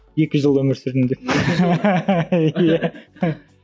екі жыл өмір сүрдім деп иә